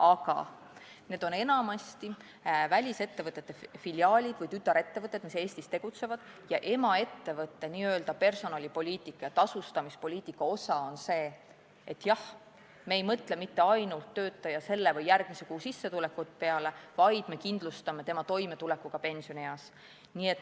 Aga need on enamasti välisettevõtete filiaalid või tütarettevõtted, mis Eestis tegutsevad, emaettevõtte personalipoliitika ja tasustamispoliitika osa on see, et jah, nad ei mõtle mitte ainult töötaja selle või järgmise kuu sissetuleku peale, vaid nad kindlustavad tema toimetuleku ka pensionieas.